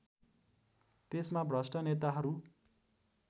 त्यसमा भ्रष्ट नेताहरू